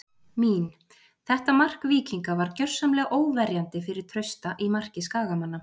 Mín: Þetta mark Víkinga var gjörsamlega óverjandi fyrir Trausta í marki Skagamanna.